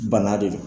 Bana de don